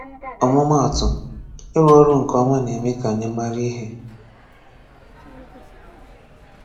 Ọmụma atụ: Ịrụ ọrụ nke ọma na-eme ka anyi mara ihe